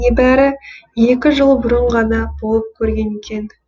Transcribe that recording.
небәрі екі жыл бұрын ғана болып көрген екен